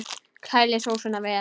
Kælið sósuna vel.